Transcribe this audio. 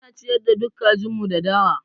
Ana ciyar da duk kajin mu da dawa.